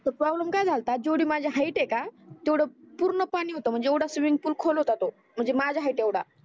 तर प्रॉब्लेम काय झालता जेवडी माझी हाइट आहे का तेवड पूर्ण पानी होत म्हणजे येवड स्विमिंग पूल खोल होता तो म्हणजे माझ्या हाइट येवडा